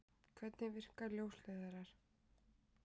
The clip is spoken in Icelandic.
Hvernig virka ljósleiðarar?